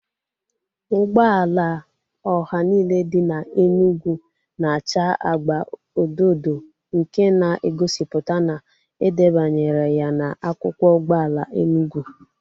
Ụgbọala ọha niile dị n'Enugu na acha agba odo odo nke na egosipụta na edebanyere ya na akwụkwọ ụgbọala Enugu